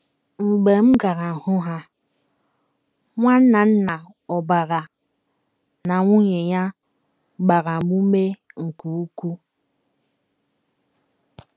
Mgbe m gara hụ ha, NwNnanna Obarah na nwunye ya gbara m ume nke ukwuu.